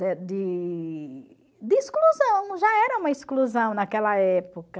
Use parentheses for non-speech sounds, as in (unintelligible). (unintelligible) De de exclusão, já era uma exclusão naquela época.